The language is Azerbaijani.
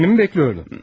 Birini mi gözləyirdin?